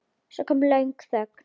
Svo kom löng þögn.